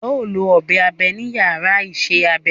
Ẹ ó lọ ọ̀bẹ abe ní yàrá isẹ́ abẹ